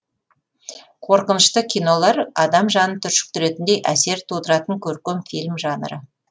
қорқынышты кинолар адам жанын түршіктіретіндей әсер тудыратын көркем фильм жанры